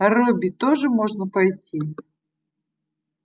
а робби тоже можно пойти